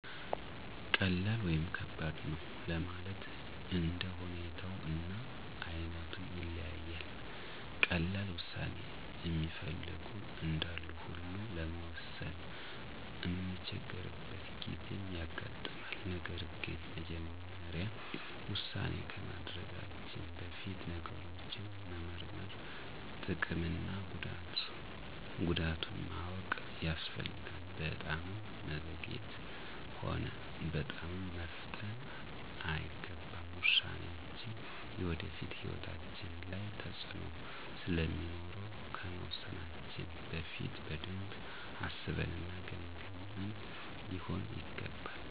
ቀላል ወይም ከባድ ነው ለማለት እንደ ሁኔታው እና አይነቱ ይለያያል። ቀላል ዉሳኔ እሚፈልጉ እንዳሉ ሁላ ለመወሰን እምንቸገርበት ጊዜም ያጋጥማል። ነገር ግን መጀመሪያ ዉሳኔ ከማድረጋችን በፊት ነገሮችን መመርመር፤ ጥቅም እና ጉዳቱን ማወቅ ያስፈልጋል። በጣምም መዘግየት ሆነ በጣምም መፍጠን አይገባም። ውሳኔያችን የወደፊት ሕይወታችን ላይ ተፅእኖ ስለሚኖረው ከመወሰናችን በፊት በደንብ አስበን እና ገምግመን ሊሆን ይገባል።